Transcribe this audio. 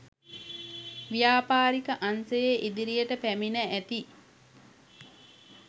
ව්‍යාපාරික අංශයේ ඉදිරියට පැමිණ ඇති